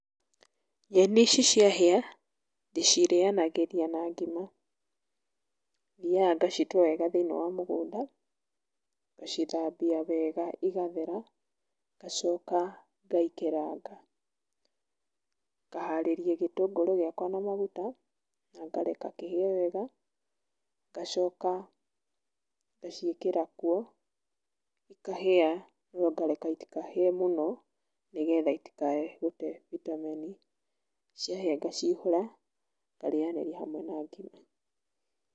Nyeni ici ciahĩa ndĩcirĩanagĩria na ngima, thiaga ngacitua wega thĩinĩ wa mũgũnda, ngacithambia wega igathera, ngacoka ngaikeranga. Ngaharĩria gĩtũngũrũ gĩakwa na maguta na ngareka kĩhĩe wega, ngacoka ngaciĩkĩra kuo, cikahĩa no ngareka itikahĩe mũno nĩgetha itikae gũte vitamin. Ciahĩa ngacihũra ngarĩanĩra hamwe na ngima.